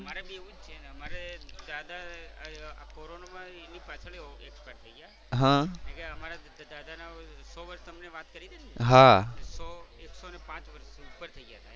અમારે બી એવું જ છે. અમારે દાદા આ કોરોના માં એની પાછળ જ expired થઈ ગયા. અમારે દાદા ના સો વર્ષ તમને વાત કરી ને એક સો એક સો ને પાંચ વર્ષ ઉપર થઈ ગયા હતા.